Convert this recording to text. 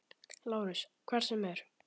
LÁRUS: Hvað sem er.